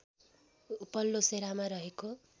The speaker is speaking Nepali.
उपल्लो सेरामा रहेको